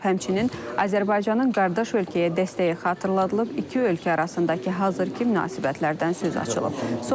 Həmçinin Azərbaycanın qardaş ölkəyə dəstəyi xatırladılıb, iki ölkə arasındakı hazırki münasibətlərdən söz açılıb.